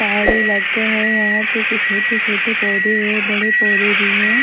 पहाड़ी लग गए है यहां पे कुछ छोटे-छोटे पौधे हैं बड़े पौधे भी हैं।